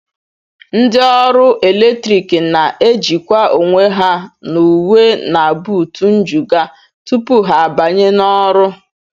Ndị ọrụ eletrik na-ejikwa onwe ha n'uwe na buutu njụga tupu ha abanye n'ọrụ